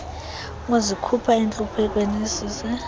ukuzikhupha entluphekweni isise